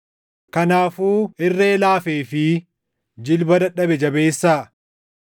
Kanaafuu irree laafee fi jilba dadhabe jabeessaa.